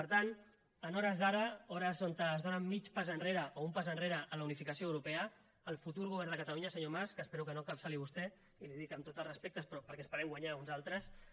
per tant a hores d’ara hores on es dóna mig pas enrere o un pas enrere en la unificació europea el futur govern de catalunya senyor mas que espero que no encapçali vostè i li ho dic amb tots els respectes però perquè esperem guanyar uns altres